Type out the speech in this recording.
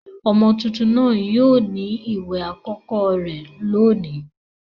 Ọmọ tuntun náà yóò ní ìwẹ̀ àkọ́kọ́ rẹ̀ lónìí